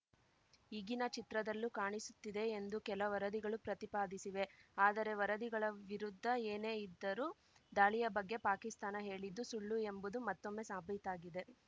ಈಗಿನ ಚಿತ್ರದಲ್ಲೂ ಕಾಣಿಸುತ್ತಿದೆ ಎಂದೂ ಕೆಲ ವರದಿಗಳು ಪ್ರತಿಪಾದಿಸಿವೆ ಆದರೆ ವರದಿಗಳ ವಿರುದ್ಧ ಏನೇ ಇದ್ದರೂ ದಾಳಿಯ ಬಗ್ಗೆ ಪಾಕಿಸ್ತಾನ ಹೇಳಿದ್ದು ಸುಳ್ಳು ಎಂಬುದು ಮತ್ತೊಮ್ಮೆ ಸಾಬೀತಾಗಿದೆ